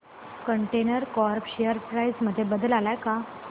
container corp share price मध्ये बदल आलाय का